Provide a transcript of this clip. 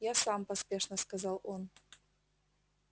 я сам поспешно сказал он